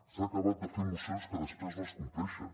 s’ha acabat de fer mocions que després no es compleixen